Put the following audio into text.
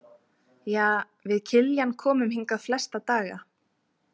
Ja, við Kiljan komum hingað flesta daga.